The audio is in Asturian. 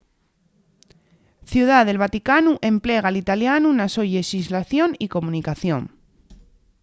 ciudá del vaticanu emplega l'italianu na so llexislación y comunicación